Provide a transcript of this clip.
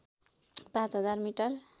पाँच हजार मिटर